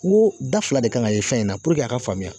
Ko da fila de kan ka ye fɛn in na puruke a ka faamuya